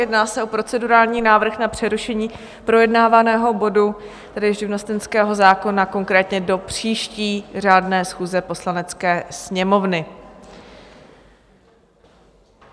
Jedná se o procedurální návrh na přerušení projednávaného bodu, tedy živnostenského zákona, konkrétně do příští řádné schůze Poslanecké sněmovny.